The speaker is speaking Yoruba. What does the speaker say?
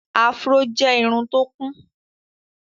afro jẹ Irun tó kún.